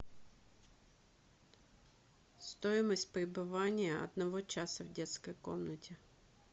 стоимость пребывания одного часа в детской комнате